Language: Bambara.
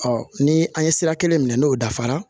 ni an ye sira kelen minɛ n'o dafara